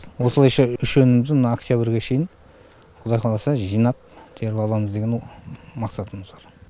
осылайша үш өнімімізді мына октябрге шейін құдай қаласа жинап теріп аламыз деген мақсатымыз бар